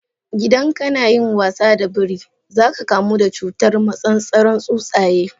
Idan kana yin wasa da biri, za ka kamu da cutar massasaran tsuntsaye.